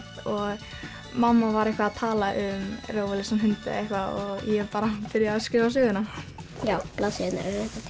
og mamma var eitthvað að tala um rófulausa hunda og ég bara byrjaði að skrifa söguna blaðsíðurnar